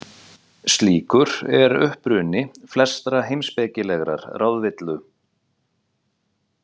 Slíkur er uppruni flestrar heimspekilegrar ráðvillu.